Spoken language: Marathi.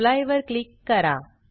एप्ली वर क्लिक करा